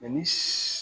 ni